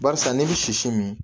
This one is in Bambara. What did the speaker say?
Barisa n'i bɛ sisi min